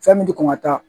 Fɛn min ti kɔn ka taa